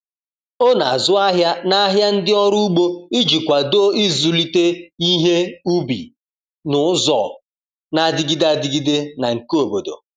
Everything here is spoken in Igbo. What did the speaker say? O na-azụ ahịa n’ahịa ndị ọrụ ugbo iji kwado ịzụlite ihe ubi n’ụzọ na-adịgide adịgide na nke obodo.